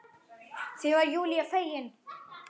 Því var Júlía fegin.